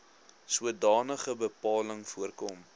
sodanige bepaling voorkom